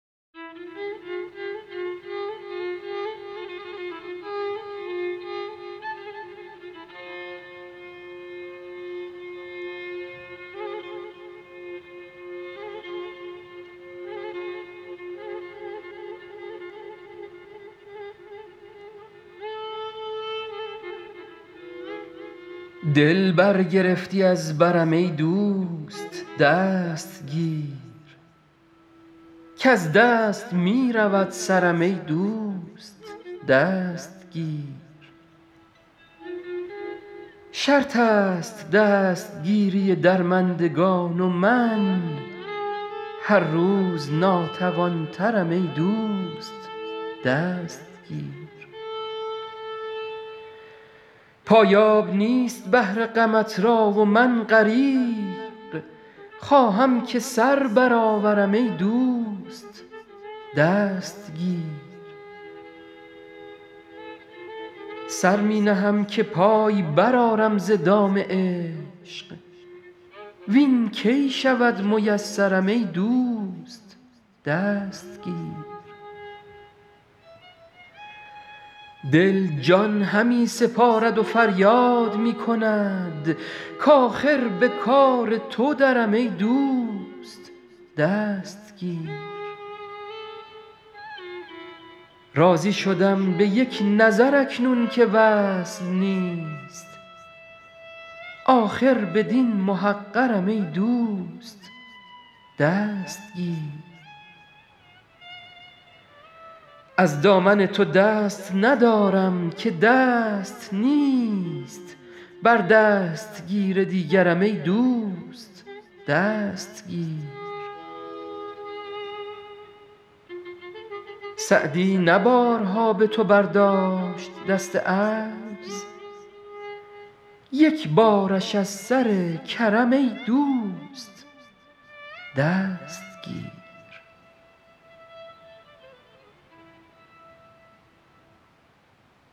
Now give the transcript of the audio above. دل برگرفتی از برم ای دوست دست گیر کز دست می رود سرم ای دوست دست گیر شرط است دستگیری درمندگان و من هر روز ناتوان ترم ای دوست دست گیر پایاب نیست بحر غمت را و من غریق خواهم که سر برآورم ای دوست دست گیر سر می نهم که پای برآرم ز دام عشق وین کی شود میسرم ای دوست دست گیر دل جان همی سپارد و فریاد می کند کآخر به کار تو درم ای دوست دست گیر راضی شدم به یک نظر اکنون که وصل نیست آخر بدین محقرم ای دوست دست گیر از دامن تو دست ندارم که دست نیست بر دستگیر دیگرم ای دوست دست گیر سعدی نه بارها به تو برداشت دست عجز یک بارش از سر کرم ای دوست دست گیر